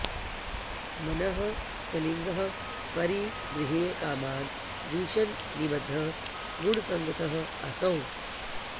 मनः स्वलिङ्गं परिगृह्य कामान् जुषन् निबद्धः गुणसङ्गतः असौ